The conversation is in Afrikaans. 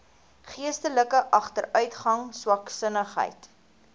geestelike agteruitgang swaksinnigheid